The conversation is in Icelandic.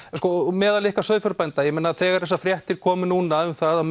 meðal ykkar sauðfjárbænda þegar þessar fréttir koma núna að